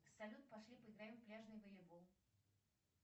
салют пошли поиграем в пляжный волейбол